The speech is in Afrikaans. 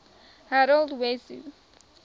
harold wesso